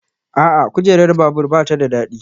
A'a, kujerar babur ba ta da daɗi